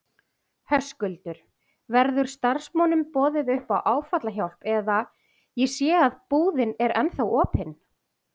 Höskuldur: Verður starfsmönnum boðið upp á áfallahjálp eða, ég sé að búðin er ennþá opin?